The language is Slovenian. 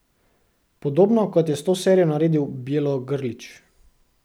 Podobno kot je s to serijo naredil Bjelogrlić.